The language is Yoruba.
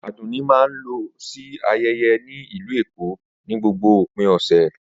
Adunni máa ń lọ sí ayẹyẹ ní Ìlú Èkó ní gbogbo òpin ọ̀sẹ̀.